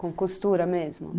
Com costura mesmo?